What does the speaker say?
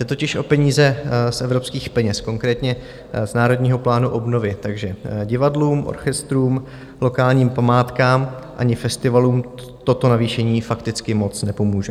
Jde totiž o peníze z evropských peněz, konkrétně z Národního plánu obnovy, takže divadlům, orchestrům, lokálním památkám ani festivalům toto navýšení fakticky moc nepomůže.